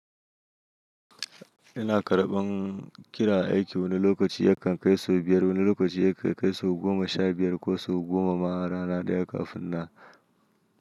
Ina karɓan kira aiki wani lokaci yakan kai sau biyar, wani lokaci ya kai sau goma sha biyar ko sau goma ma a rana ɗaya kafin nan.